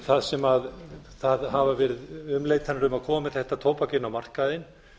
það sem það hafa verið umleitanir um að komi þetta tóbak inn á markaðinn